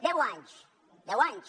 deu anys deu anys